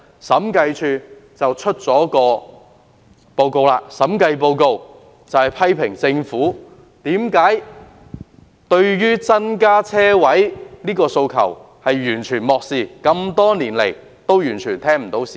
審計署昨天發表審計報告，批評政府完全漠視增加車位的訴求，多年來對市民的訴求完全充耳不聞。